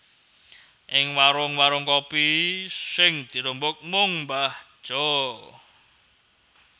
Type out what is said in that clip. Ing warung warung kopi sing dirembug mung mbah Jo